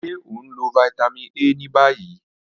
Ṣe o nlo Vitamin A ni bayi?